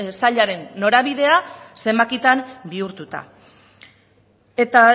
sailaren norabidea zenbakitan bihurtuta eta